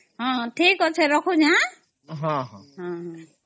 ହଁ ଠିକ ଅଛେ ରଖୁଛେ ଆଂ